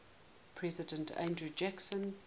president andrew jackson